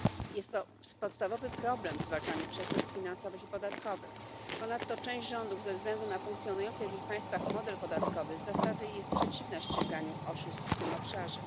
Jest to podstawowy problem w zwalczaniu przestępstw finansowych i podatkowych. Ponadto część rządów ze względu na funkcjonujący w ich państwach model podatkowy z zasady jest przeciwna ściganiu oszustw w tym obszarze.